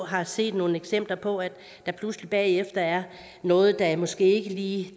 har set nogle eksempler på at der pludselig bagefter er noget der måske ikke lige